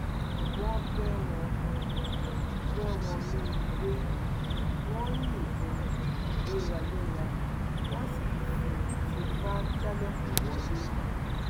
wọn bẹ wọn bẹ wọnú ilé wọn ń yìnbọn léraléra wọn sì ń fi tìpá jálẹkùn wọlẹ